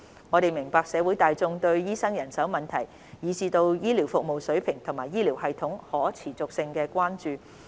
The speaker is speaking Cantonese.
我們明白社會大眾對醫生人手問題，以至對醫療服務水平及醫療系統可持續性的關注。